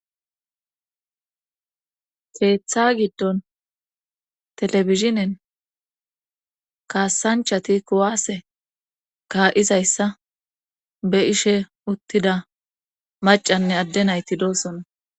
keeththa giddon telebishinen kaasanchati kuwaase kaa7izayssa be ishe uttida macanne adde nayti doosonna